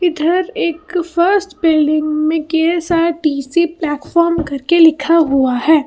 इधर एक first building में ढेर सारे पी सी प्लेटफार्म करके लिखा हुआ है।